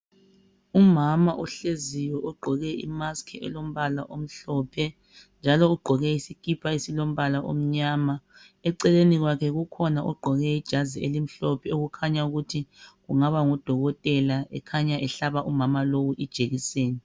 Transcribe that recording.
Umama ohleziyo ogqoke imasiki elombala omhlophe njalo ugqoke isikipa esilombala omnyama, eceleni kwekhe kukhona ogqoke ijazi elimhlophe okukhanya ukuthi kungaba ngudokotela ekhanya ehlaba umamalowu ijekiseni.